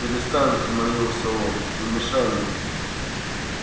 перестань взмолился он не мешай мне